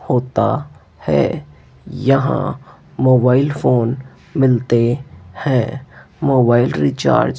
होता है यहा मोबाइल फोन मिलते हैं मोबाइल रिचार्ज --